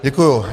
Děkuji.